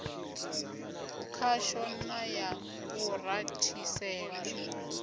khasho na ya u rathisela